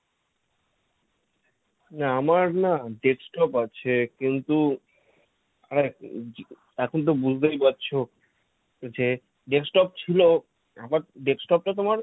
উম আমার না desktop আছে। কিন্তু আহ এখন তো বুঝতেই পারছ যে desktop ছিল আমার desktop টা তোমার